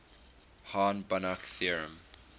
hahn banach theorem